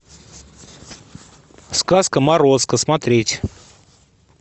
сказка морозко смотреть